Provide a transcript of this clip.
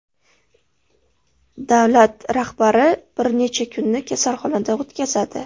Davlat rahbari bir necha kunni kasalxonada o‘tkazadi.